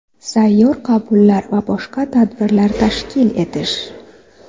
Sayyor qabullar va boshqa tadbirlar tashkil etish.